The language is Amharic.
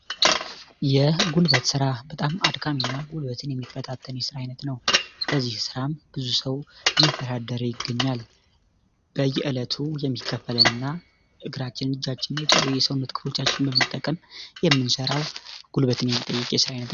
የጉልበት ስራ በጣም አድካሚ የስራ አይነት ነው ይገኛል የሚቀበልንና እግራቸው የሰውነት ክፍሎቻችን በመጠቀም የምንሰራው ጉልበት ነው።